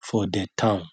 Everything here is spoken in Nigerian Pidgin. for de town